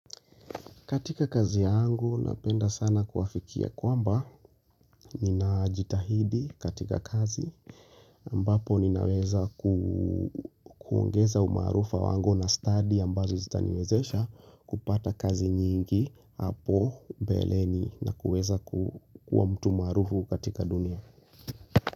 Katika kazi yangu napenda sana kuafikia kwamba ninajitahidi katika kazi ambapo ninaweza kuongeza umaarufu wangu na stadi ambazo zitaniwezesha kupata kazi nyingi hapo mbeleni na kuweza kuwa mtu maarufu katika dunia.